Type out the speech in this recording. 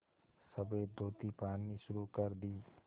सफ़ेद धोती पहननी शुरू कर दी